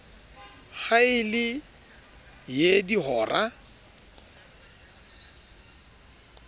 ha e le ee dihora